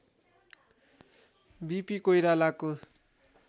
वि P कोइरालाको